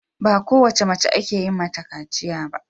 Ba kowace mace ake yin mata kaciya ba.